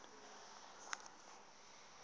yamachunu